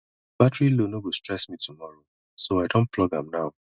battery low no go stress me tomorrow so i don plug am now